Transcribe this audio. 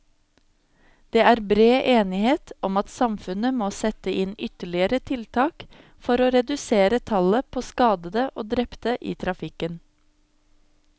Det er bred enighet om at samfunnet må sette inn ytterligere tiltak for å redusere tallet på skadede og drepte i trafikken.